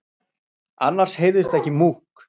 Annars heyrðist ekki múkk.